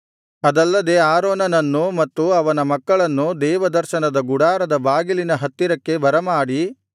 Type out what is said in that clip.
ಅದಲ್ಲದೆ ಆರೋನನನ್ನೂ ಮತ್ತು ಅವನ ಮಕ್ಕಳನ್ನೂ ದೇವದರ್ಶನದ ಗುಡಾರದ ಬಾಗಿಲಿನ ಹತ್ತಿರಕ್ಕೆ ಬರಮಾಡಿ